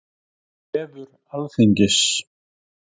Vefur Alþingis.